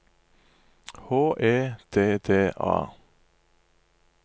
H E D D A